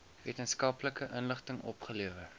wetenskaplike inligting opgelewer